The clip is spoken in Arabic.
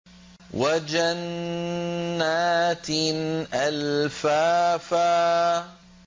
وَجَنَّاتٍ أَلْفَافًا